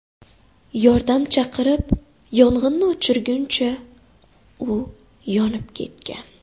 Yordam chaqirib yong‘inni o‘chirguncha u yonib ketgan.